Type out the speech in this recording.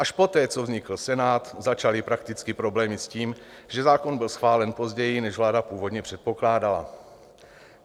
Až poté, co vznikl Senát, začaly prakticky problémy s tím, že zákon byl schválen později, než vláda původně předpokládala.